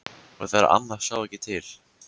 Og þegar amma sá ekki til.